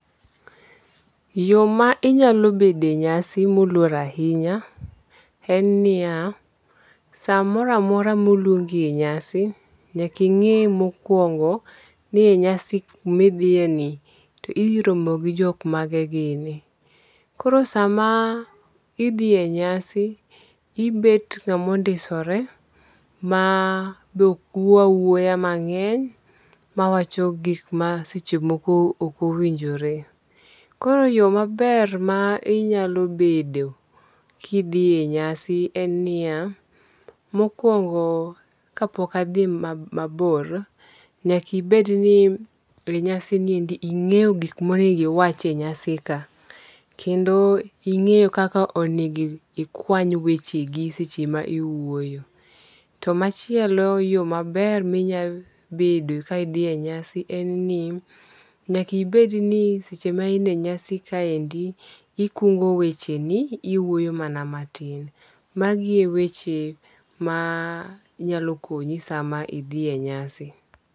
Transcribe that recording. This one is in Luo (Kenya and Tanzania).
Yo ma inyalo bede e nyasi moluor ahinya en niya, samora mora moluongi e nyasi, nyaka ing'i mokuongo ni e nyasi midhiyeni to idhi romo gi jok mane gini. Koro sama idhi e nyasi, ibet ng'ama ondisore .Ma be okwuo awuoya mang'eny, ma wacho gik ma seche moko ok owinjore. Koro yo maber ma inyalo bedo kidhi e nyasi en niya. Mokwongo kapok adhi mabor, nyaka ibed ni e nyasini endi .Ing'eyo gik monego iwachi e nyasi ka. Kendo ing'eyo kaka onego ikwany wechegi seche ma iwuoyo. To machielo, yo maber minya bedo ka idhi nyasi en ni, nyaka ibed ni seche ma in e nyasi kaendi, ikungo wecheni, iwuoyo mana matin. Magi e weche ma nyalo konyi sama idhi e nyasi.